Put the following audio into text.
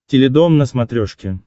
теледом на смотрешке